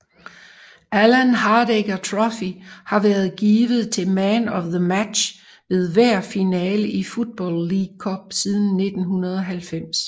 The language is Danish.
Alan Hardaker Trophy har været givet til Man of the Match ved hver finale i Football League Cup siden 1990